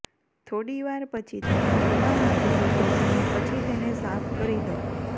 થોડી વાર પછી તેને હળવા હાથથી ઘસીને પછી તેને સાફ કરી દો